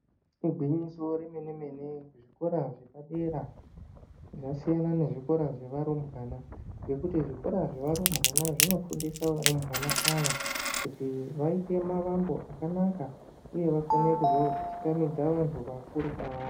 Igwinyiso re mene mene zvikora zvapa dera zvasiyana ne zvikora zva varumbwana nekuti zvikora zveva rumbwana zvino fundisa varumbwana ava kuti vaite mavombo akanaka uye vakune kuzo chingamidza vantu vakuru kwavari.